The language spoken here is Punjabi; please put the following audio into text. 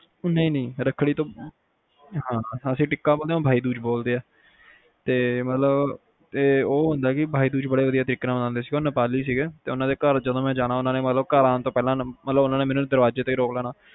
ਨਹੀਂ ਨਹੀਂ ਰੱਖੜੀ ਤੁਸੀਂ ਟਿੱਕਾ ਓਹਨਾ ਭਇਆ ਦੂਜ ਬੋਲ ਦੀਆ ਤੇ ਉਹ ਹੁੰਦਾ ਕੇ ਭਇਆ ਦੂਜ ਬੜੇ ਵਧੀਆ ਤਰੀਕੇ ਨਾਲ ਮਨਾਂਦੇ ਸੀਗੇ ਤੇਉਹ ਨੇਪਾਲੀ ਸੀਗੇ ਜਦ ਮੈਂ ਓਹਨਾ ਦੇ ਘਰ ਜਾਣਾ ਓਹਨਾ ਨੇ ਦਰਵਾਜ਼ੇ ਤੇ ਈ ਰੋਕ ਲੈਣਾ